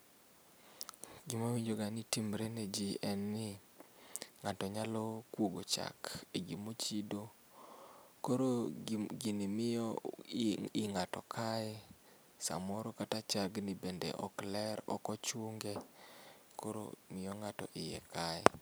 Gima awinjo ga ni timre ne jii en ni ng'ato nyalo kuogo chak e gima ochiedo, koro gini miyo i ng'ato kaye samoro kata chagni bende ok ler, ok ochune koro miyo ng'ato iye kaye